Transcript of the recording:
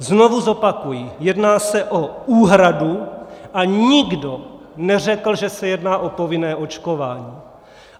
Znovu zopakuji: jedná se o úhradu a nikdo neřekl, že se jedná o povinné očkování.